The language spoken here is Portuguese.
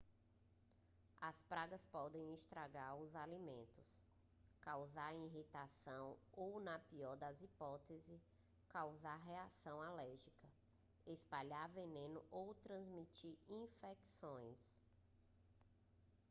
as pragas podem estragar os alimentos causar irritação ou na pior das hipóteses causar reações alérgicas espalhar veneno ou transmitir infecções